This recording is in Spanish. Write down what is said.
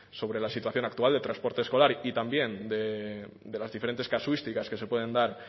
sobre la situación actual del transporte escolar y también de las diferentes casuísticas que se pueden dar